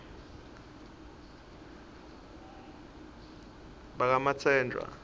bakamatsenjwa